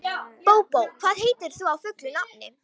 Bóbó, hvað heitir þú fullu nafni?